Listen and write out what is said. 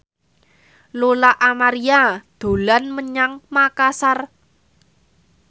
Lola Amaria dolan menyang Makasar